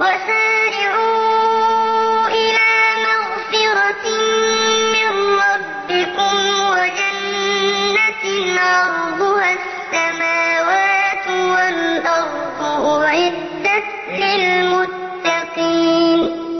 وَسَارِعُوا إِلَىٰ مَغْفِرَةٍ مِّن رَّبِّكُمْ وَجَنَّةٍ عَرْضُهَا السَّمَاوَاتُ وَالْأَرْضُ أُعِدَّتْ لِلْمُتَّقِينَ